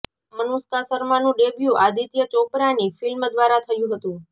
અનુષ્કા શર્માનું ડેબ્યૂ આદિત્ય ચોપરાની ફિલ્મ દ્વારા થયું હતું